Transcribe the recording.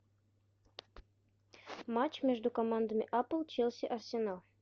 матч между командами апл челси арсенал